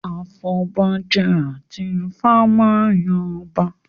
Afọbajẹ àti Ifá máa yan ọba